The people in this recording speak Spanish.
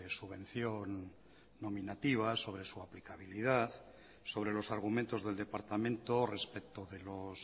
subvención nominativa sobre su aplicabilidad sobre los argumentos del departamento respecto de los